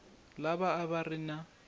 lava a va ri na